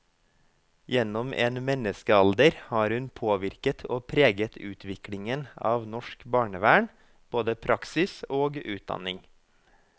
Gjennom en menneskealder har hun påvirket og preget utviklingen av norsk barnevern, både praksis og utdanning.